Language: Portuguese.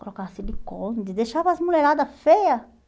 Colocava silicone, deixava as mulheradas feias.